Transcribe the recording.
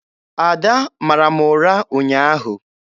Ada mara m ụra ụnyaahụ.